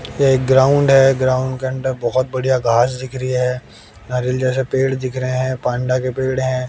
एक ग्राउंड है ग्राउंड के अंडर बहोत बढ़िया घास दिख रही है नारियल जैसे पेड़ दिख रहे है पांडा के पेड़ हैं।